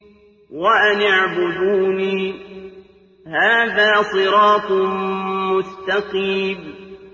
وَأَنِ اعْبُدُونِي ۚ هَٰذَا صِرَاطٌ مُّسْتَقِيمٌ